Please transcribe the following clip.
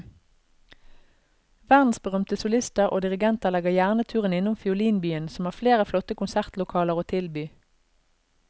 Verdensberømte solister og dirigenter legger gjerne turen innom fiolinbyen som har flere flotte konsertlokaler å tilby.